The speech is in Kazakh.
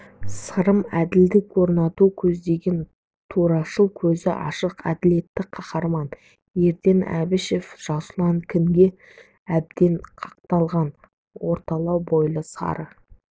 сырым әділдік орнатуды көздеген турашыл көзі ашық әділетті қаһарман ерден әбішев жасұлан күнге әбден қақталған орталау бойлы сары